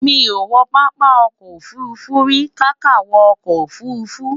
mí kò wo pápá ọkọ̀ òfurufú ríi kàkà wo ọkọ ofurufu